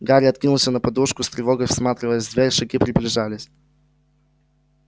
гарри откинулся на подушку с тревогой всматриваясь в дверь шаги приближались